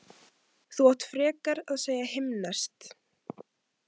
Þú átt frekar að segja himneskt